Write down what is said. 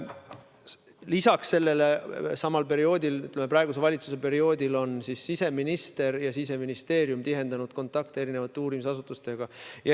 Lisaks sellele on praeguse valitsuse ajal siseminister ja Siseministeerium tihendanud kontakte erinevate uurimisasutustega.